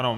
Ano.